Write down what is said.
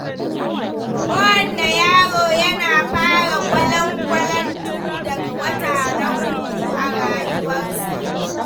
Kowane yaro yana fara gwalangwalantu daga wata na uku a rayuwarsu.